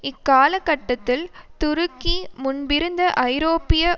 இக்காலக்கட்டத்தில் துருக்கி முன்பிருந்த ஐரோப்பிய